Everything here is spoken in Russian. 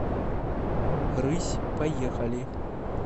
рысь поехали